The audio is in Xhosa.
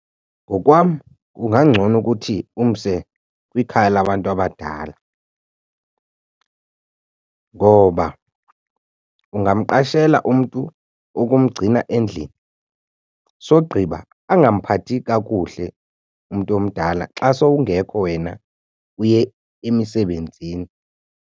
Ngokwam kungangcono ukuthi umse kwikhaya labantu abadala. Ngoba ungamqashela umntu wokumgcina endlini sogqiba angamphathi kakuhle umntu omdala xa sowungekho wena uye emisebenzini.